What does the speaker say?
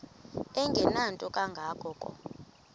engenanto kanga ko